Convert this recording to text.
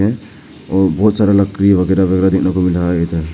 और बहुत सारा लकड़ी वगैरा है।